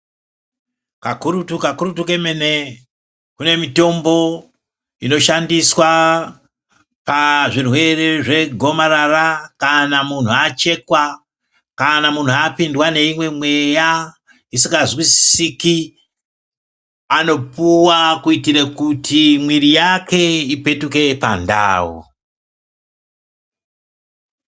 Kakurutu kakurutu kemene kune mitombo inoshandiswa pazvirwere zvegomarara kana munhu achekwa kana munhu apindwa neimwe mweya isingazwisisiki anopuwa kuitire kuti mwiiri yake ipetuke pandau.